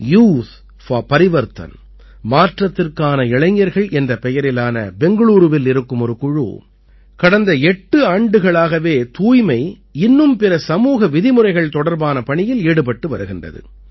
youth for Parivartan மாற்றத்திற்கான இளைஞர்கள் என்ற பெயரிலான பெங்களூரூவில் இருக்கும் ஒரு குழு கடந்த எட்டு ஆண்டுகளாகவே தூய்மை இன்னும் பிற சமூக விதிமுறைகள் தொடர்பான பணியில் ஈடுபட்டு வருகிறது